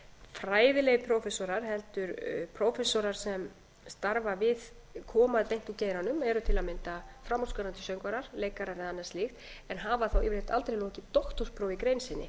fræðilegir prófessorar heldur prófessorar sem starfa við koma beint úr geiranum eru til að mynda framúrskarandi söngvarar leikarar eða annað slíkt en hafa þó yfirleitt aldrei lokið doktorsprófi í grein sinni